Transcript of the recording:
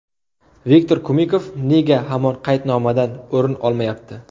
Viktor Kumikov nega hamon qaydnomadan o‘rin olmayapti?